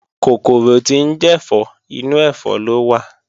Kòkòrò tí ń jẹ̀fọ́, inú ẹ̀fọ́ ló wà